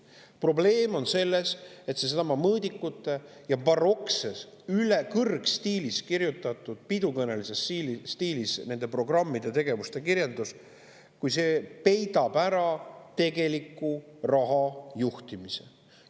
Probleem on selles, et seesama mõõdikute ja barokses kõrgstiilis, pidukõnelises stiilis esitatud programmide ja tegevuste kirjeldus peidab ära tegeliku raha juhtimise.